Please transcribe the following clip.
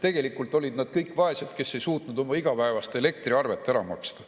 Tegelikult olid nad kõik vaesed, kes ei suutnud oma igapäevast elektriarvet ära maksta.